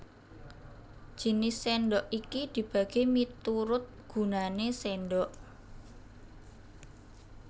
Jinis sèndhok iki dibagi miturut gunané sèndhok